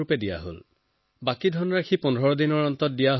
সিদ্ধান্ত হৈছিল যে বাকীখিনি ধন তেওঁক পোন্ধৰ দিনত আদায় কৰা হব